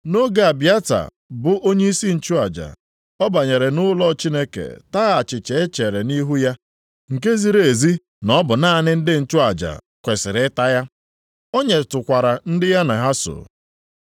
Nʼoge Abịata bụ onyeisi nchụaja, ọ banyere nʼụlọ Chineke taa achịcha e chere nʼihu ya, nke ziri ezi na ọ bụ naanị ndị nchụaja kwesiri ịta ya. O nyetụkwara ndị ya na ha so.”